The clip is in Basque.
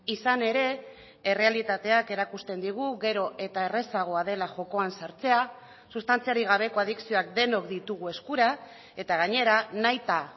izan ere errealitateak erakusten digu gero eta errazagoa dela jokoan sartzea sustantziarik gabeko adikzioak denok ditugu eskura eta gainera nahita